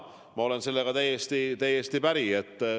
Ma olen sellega täiesti päri.